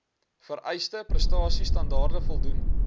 vereiste prestasiestandaarde voldoen